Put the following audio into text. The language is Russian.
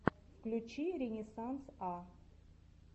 включи ренессанс а